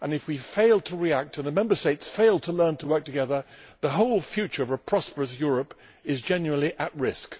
If we fail to react and the Member States fail to learn to work together, the whole future of a prosperous Europe is genuinely at risk.